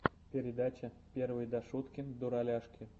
передача первый дашуткин дураляшки